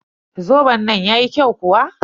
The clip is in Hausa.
Zoben nan yayi kyau kuwa?